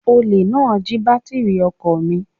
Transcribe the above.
Olè náà jí bátírì ọkọ̀ mi